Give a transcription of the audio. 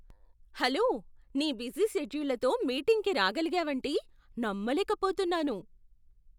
Hello! నీ busy షెడ్యూల్లతో మీటింగ్కి రాగలిగావంటే నమ్మలేకపోతున్నాను!